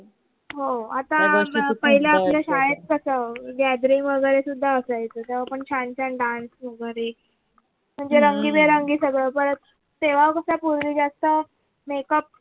हो आता पहिले आपल्या शाळेत कस gathering वगरे सुद्धा असायचं तेव्हा पण छान छान dance वगरे म्हणजे रंगे बेरंगी सगळ परत तेव्हा कस पूर्वी जास्त makeup वगरे